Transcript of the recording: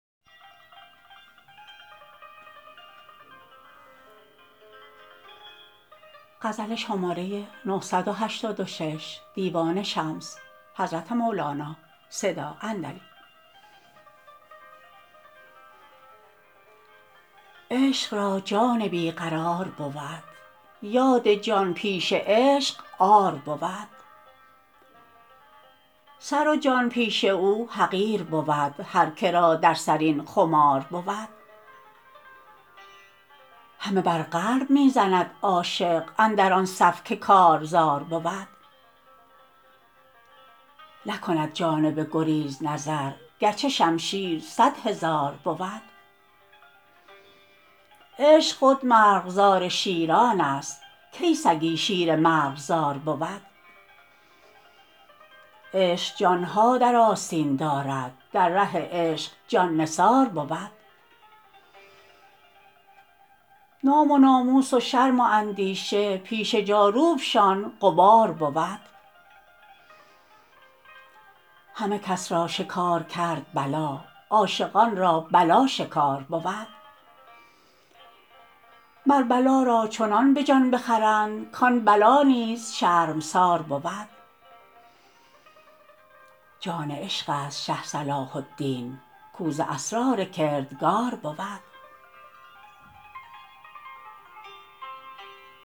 عشق را جان بی قرار بود یاد جان پیش عشق عار بود سر و جان پیش او حقیر بود هر که را در سر این خمار بود همه بر قلب می زند عاشق اندر آن صف که کارزار بود نکند جانب گریز نظر گرچه شمشیر صد هزار بود عشق خود مرغزار شیران است کی سگی شیر مرغزار بود عشق جان ها در آستین دارد در ره عشق جان نثار بود نام و ناموس و شرم و اندیشه پیش جاروب شان غبار بود همه کس را شکار کرد بلا عاشقان را بلا شکار بود مر بلا را چنان به جان بخرند کان بلا نیز شرمسار بود جان عشق است شه صلاح الدین کاو ز اسرار کردگار بود